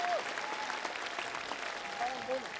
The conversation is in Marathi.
चालन जाऊ मग.